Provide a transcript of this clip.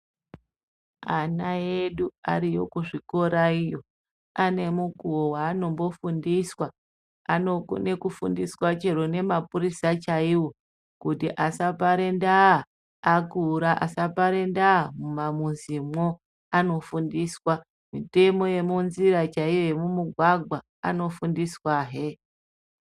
Ana edu arikuzvikora iyoyo ane mukuwo waanombofundiswa. Anokona kufundiswa chero nemapurisa chaiwo kuti asapare ndaa, akura asapare ndaa mumamuzimwo. Anofundiswa mitemo yemunzira chaiyo yemumugwagwa anofundiswahe.